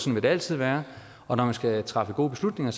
vil det altid være og når man skal træffe gode beslutninger